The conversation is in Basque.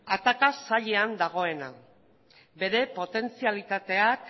ataka sailean dagoena bere potentzialitateak